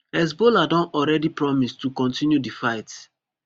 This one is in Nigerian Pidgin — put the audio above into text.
hezbollah don already promise to kontinue di fight